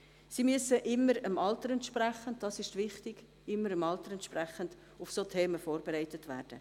Siemüssen immer dem Alter entsprechend – dies ist wichtig – auf solche Themen vorbereitet werden.